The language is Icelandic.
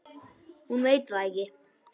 Hún veit það ekki.